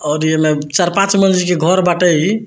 और ये में चार-पांच मंज़िल के घर बाटे ई।